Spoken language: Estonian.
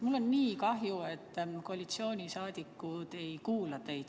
Mul on nii kahju, et koalitsioonisaadikud ei kuula teid.